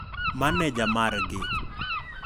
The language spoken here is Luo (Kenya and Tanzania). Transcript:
Maneja margi?